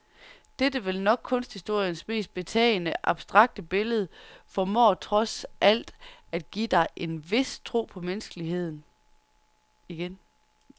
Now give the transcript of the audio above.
Dette vel nok kunsthistoriens mest betagende abstrakte billede formår trods alt at give dig en vis tro på menneskeheden igen.